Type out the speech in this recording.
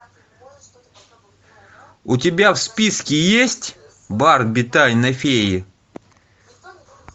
у тебя в списке есть барби тайна феи